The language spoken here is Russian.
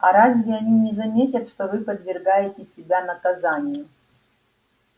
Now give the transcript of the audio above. а разве они не заметят что вы подвергаете себя наказанию